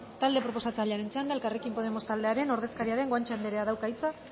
talde proposatzailearen txanda elkarrekin podemos taldearen ordezkaria den guanche andereak dauka hitza